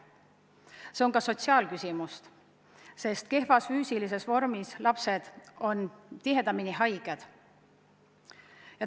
Ja see on ka sotsiaalne küsimus, sest kehvas füüsilises vormis lapsed on tihedamini haiged.